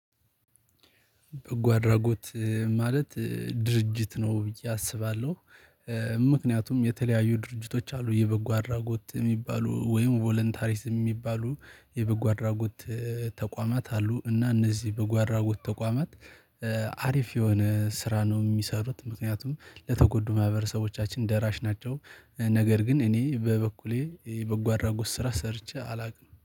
በጎ አድራጎት ማለት ድርጅት ነው ብዬ አስባለሁ። ምክንያቱም የተለያዩ ድርጅቶች አሉ የበጎ አድራጎት የሚባሉ ወይም ቮለንታሪስት የሚባሉ የበጎ አድራጎት ተቋማት አሉ። እና እነዚህ በጎአድራጎት ተቋማት አሪፍ የሆነ ስራ ነው የሚሰሩት ምክንያቱም ለተጎዱ ማህበረሰቦቻችን ደራሽ ናቸው። ነገር ግን እኔ በበኩሌ የበጎ አድራጎት ስራ ሰርቼ አላውቅም